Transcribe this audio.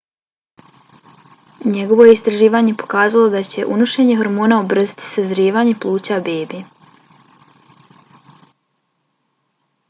njegovo je istraživanje pokazalo da će unošenje hormona ubrzati sazrijevanje pluća bebe